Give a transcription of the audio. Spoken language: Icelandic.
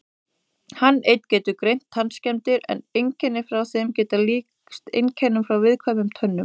Hann einn getur greint tannskemmdir en einkenni frá þeim geta líkst einkennum frá viðkvæmum tönnum.